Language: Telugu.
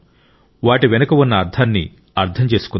వాటి వెనుక ఉన్న అర్థాన్ని అర్థం చేసుకుందాం